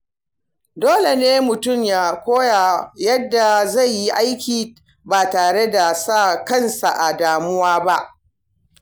Dole ne mutum ya koyi yadda zai yi aiki ba tare da sa kansa a damuwa ba.